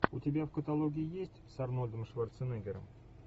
у тебя в каталоге есть с арнольдом шварценеггером